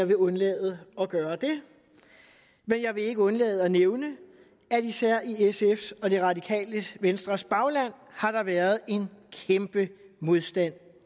vil undlade at gøre det men jeg vil ikke undlade at nævne at især i sfs og det radikale venstres bagland har der været en kæmpe modstand